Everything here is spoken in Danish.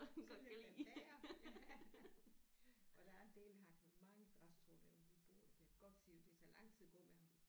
Så lad da være ja og der er en del han har mange græsstrå der hvor vi bor jeg kan godt sige dig det tager lang tid at gå med ham